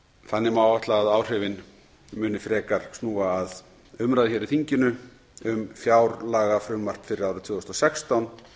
þannig má áætla að áhrifin muni frekar snúa að umræðu hér í þinginu um fjárlagafrumvarp fyrir árið tvö þúsund og sextán